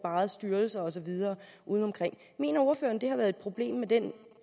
styrelser og så videre udeomkring mener ordføreren at det har været et problem med den